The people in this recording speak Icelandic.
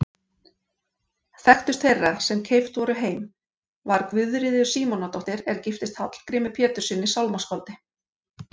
Þekktust þeirra sem keypt voru heim var Guðríður Símonardóttir er giftist Hallgrími Péturssyni sálmaskáldi.